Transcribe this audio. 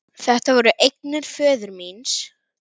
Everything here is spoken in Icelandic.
Þetta voru eignir föður míns.